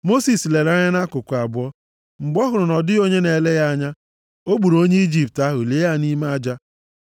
Mosis lere anya nʼakụkụ abụọ. Mgbe ọ hụrụ na ọ dịghị onye na-ele ya anya, o gburu onye Ijipt ahụ, lie ya nʼime aja.